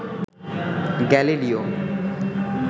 Galileo